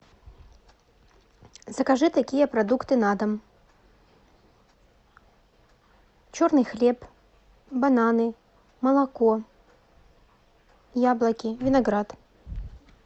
закажи такие продукты на дом черный хлеб бананы молоко яблоки виноград